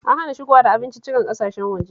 An hana shigowa da abinciccikan ƙasashen waje